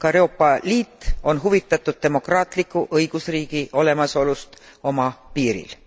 Ka Euroopa Liit on huvitatud demokraatliku õigusriigi olemasolust oma piiril.